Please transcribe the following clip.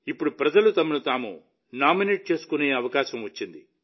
ఇప్పుడు ప్రజలు తమను తాము నామినేట్ చేసుకునే అవకాశం ఉంది